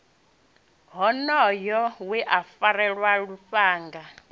wonoyo we a farelwa lufhanga